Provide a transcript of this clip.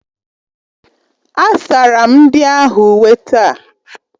Asara m ndị ahụ uwe taa.